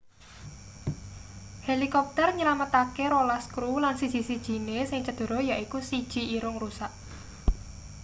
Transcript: helikopter nylametake rolas kru lan siji-sijine sing cedera yaiku siji irung rusak